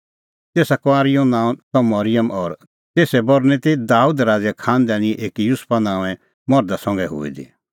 तेसा कुंआरी नांअ त मरिअम और तेसरी बरनीं ती दाबेदे राज़े खांनदानीए एकी युसुफा नांओंऐं मर्धा संघै हुई दी